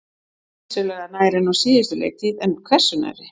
Vissulega nær en á síðustu leiktíð, en hversu nærri?